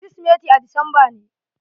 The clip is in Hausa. Kirismati a disamba ne.